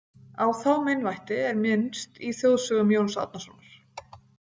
Á þá meinvætti er minnst í Þjóðsögum Jóns Árnasonar.